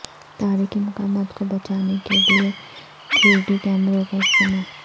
تاریخی مقامات کو بچانے کے لیے تھری ڈی کیمروں کا استعمال